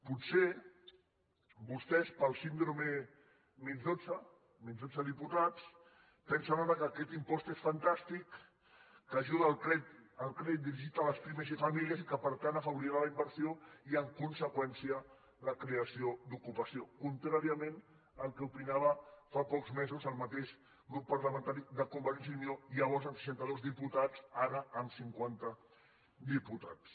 potser vostès pel síndrome menys dotze menys dotze diputats pensen ara que aquest impost és fantàstic que ajuda el crèdit dirigit a les pimes i famílies i que per tant afavorirà la inversió i en conseqüència la creació d’ocupació contràriament al que opinava fa pocs mesos el mateix grup parlamentari de convergència i unió llavors amb seixanta dos diputats ara amb cinquanta diputats